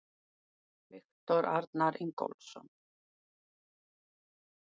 Viktor Arnar Ingólfsson